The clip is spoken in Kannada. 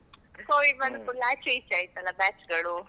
Covid ಬಂದ್ ಕೂಡ್ಲೆ ಆಚೆ ಈಚೆ ಆಯಿತಲ್ಲ batch ಗಳು.